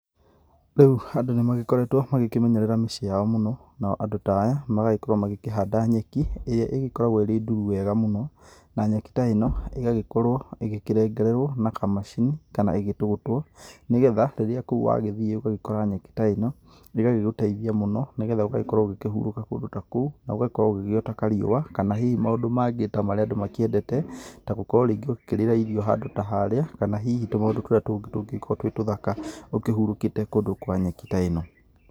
Rĩu andũ nĩ magĩkoretwo makĩmenyerera mĩciĩ yao mũno, nao andũ ta aya magagĩkorwo magĩkĩhanda nyeki. ĩrĩa ĩgĩkoragwo ĩrĩ nduru wega mũno na nyeki ta ĩno ĩgagĩkorwo ĩkĩrengererwo na kamacini kana ĩgĩtũgũtwo. Nĩ getha rĩrĩa kũu wagĩthiĩ ũgakora nyeki ta ĩno, ĩgagĩgũteithia mũno nĩ getha ũgakorwo ũkĩhurũka kũndũ ta kũu, na ũgakorwo ũgĩgĩota kariũa kana hihi maũndũ mangĩ ta marĩa andũ makĩendete. Tagũkorwo rĩngĩ ũgĩkĩrĩra irio handũ ta harĩa kana hihi tũmaũndũ tũrĩa tũngĩ tũngĩgĩkorwo twĩ tũthaka ũkĩhurũkĩte kũndũ kwa nyeki ta ĩno.